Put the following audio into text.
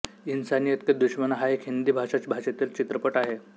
इंसानियत के दुश्मन हा एक हिंदी भाषा भाषेतील चित्रपट आहे